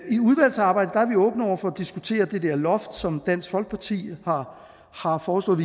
i udvalgsarbejdet er vi åbne over for at diskutere det der loft som dansk folkeparti har foreslået